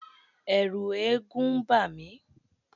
Ẹ̀ẹ̀rù eégún ń bà mí.